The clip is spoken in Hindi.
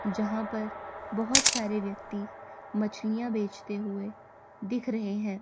जहां पर बहोत सारे व्यक्ति मछलिया बेचते हुए दिख रहे हैं।